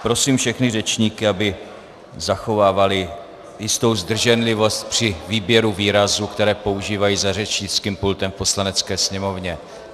Prosím všechny řečníky, aby zachovávali jistou zdrženlivost při výběru výrazů, které používají za řečnickým pultem v Poslanecké sněmovně.